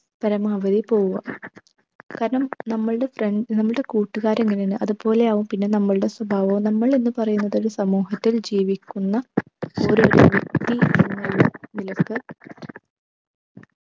പരമാവധി പോവുക കാരണം നമ്മളുടെ friend നമ്മളുടെ കൂട്ടുകാർ എങ്ങനെയാണ് അതുപോലെയാവും പിന്നെ നമ്മളുടെ സ്വഭാവവും. നമ്മളെന്ന് പറയുന്നത് ഒരു സമൂഹത്തിൽ ജീവിക്കുന്ന ഓരോ വ്യക്തി എന്നുള്ള നിലക്ക്